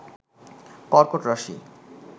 কর্কট রাশি